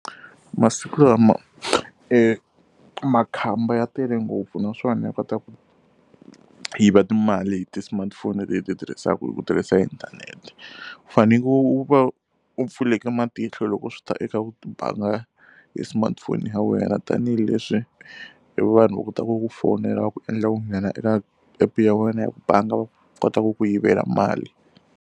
Masiku lama e makhamba ya tele ngopfu naswona ya kota ku yiva timali hi ti-smartphone leti hi ti tirhisaka hi ku tirhisa inthanete. U fanekele u va u pfule matihlo loko swi ta eka ku banga hi smartphone ya wena tanihileswi e vanhu va kotaka ku ku fonela va ku endla u nghena eka app-u ya wena ya bangi va kota ku ku yivela mali.